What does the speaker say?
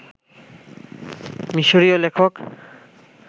মিশরীয় লেখক